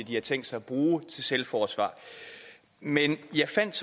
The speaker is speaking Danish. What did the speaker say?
de har tænkt sig at bruge til selvforsvar men jeg fandt